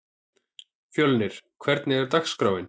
Fjölnir, hvernig er dagskráin?